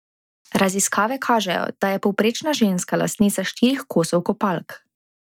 Raziskave kažejo, da je povprečna ženska lastnica štirih kosov kopalk.